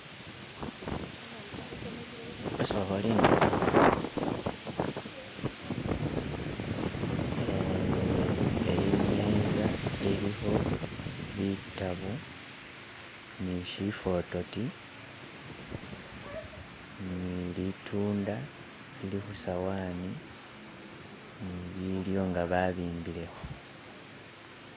Eyi imeza iliko bitabo ni shifotooti ni litunda lili ku sowani ni bilyo nga babimbileko.